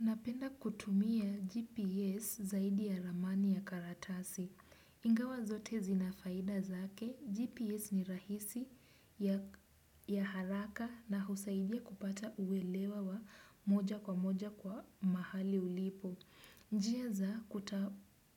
Napenda kutumia GPS zaidi ya ramani ya karatasi. Ingawa zote zina faida zake. GPS ni rahisi, ya haraka na husaidia kupata uelewa wa moja kwa moja kwa mahali ulipo. Njia za